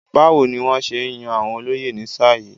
Báwo ni wọ́n ṣe yàn àwọn olóyè ní sáà yìí?